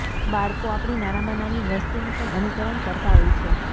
બાળકો આપણી નાનામાં નાની વસ્તુનું પણ અનુકરણ કરતા હોય છે